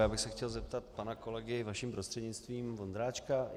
Já bych se chtěl zeptat pana kolegy, vaším prostřednictvím, Vondráčka.